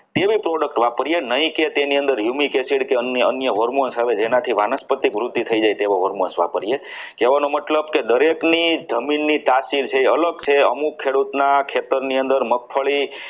બે product વાપરીએ નહીં કે તેની yumic acid કે અન્ય hormones આવે જેનાથી વાનસ્પતિક વૃદ્ધિ થઈ જાય તેવા hormones વાપરીએ કહેવાનો મતલબ કે દરેકની જમીનની તાસીર છે અલગ છે દરેક ખેડૂતના ખેતરની અંદર મગફળી